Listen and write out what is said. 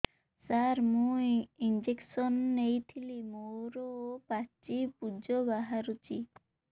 ସାର ମୁଁ ଇଂଜେକସନ ନେଇଥିଲି ମୋରୋ ପାଚି ପୂଜ ବାହାରୁଚି